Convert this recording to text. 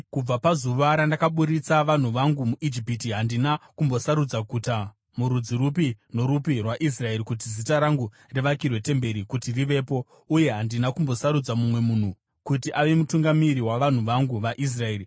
‘Kubva pazuva randakaburitsa vanhu vangu muIjipiti, handina kumbosarudza guta murudzi rupi norupi rwaIsraeri kuti Zita rangu rivakirwe temberi kuti rivepo, uye handina kumbosarudza mumwe munhu kuti ave mutungamiri wavanhu vangu vaIsraeri.